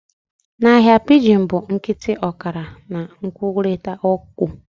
Na ahịa, pidgin bụ a nkịtị ọkara nke nkwurịta okwu